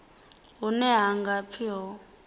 hune ha nga pfi ho